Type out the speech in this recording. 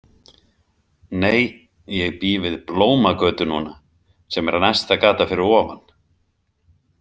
Nei, ég bý við Blómagötu núna sem er næsta gata fyrir ofan.